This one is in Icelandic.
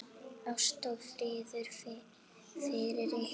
Ást og friður fylgi ykkur.